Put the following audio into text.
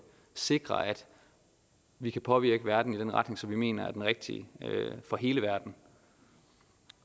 sikre at vi kan påvirke verden i den retning som vi mener er den rigtige for hele verden